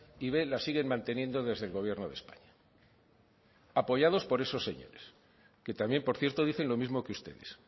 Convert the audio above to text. y b la siguen manteniendo desde el gobierno de españa apoyados por esos señores que también por cierto dicen lo mismo que ustedes